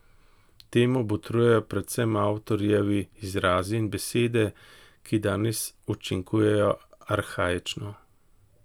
Temu botrujejo predvsem avtorjevi izrazi in besede, ki danes učinkujejo arhaično.